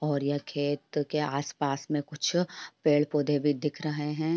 और यह खेत के आस पास मे कुछ पेड पौधे भी दिख रहे हैं।